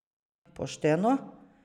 Pošteno?